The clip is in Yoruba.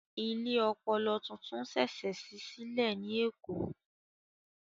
Ilé ọpọlọ tuntun ṣẹ̀ṣẹ̀ ṣí sílẹ̀ ní Èkó